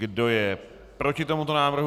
Kdo je proti tomuto návrhu?